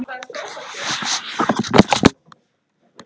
Elsku Dagný frænka.